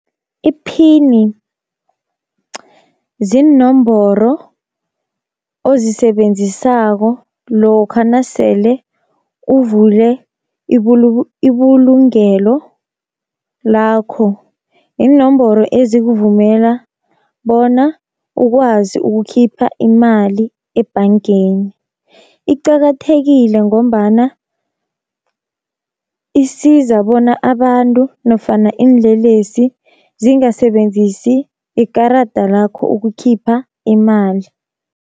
Iphini ziinomboro ozisebenzisako lokha nasele uvule ibulungelo lakho. Yiinomboro ezikuvumela bona ukwazi ukukhipha imali ebhangeni. Iqakathekile ngombana isiza bona abantu nofana iinlelesi zingasebenzisi ikarada lakho ukukhipha imali.